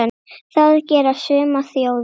Það gera sumar þjóðir.